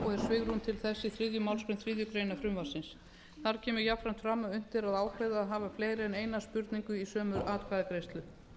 svigrúm til þess í þriðju málsgrein þriðju greinar frumvarpsins þar kemur jafnframt fram að unnt er að hafa fleiri en eina spurningu í sömu atkvæðagreiðslu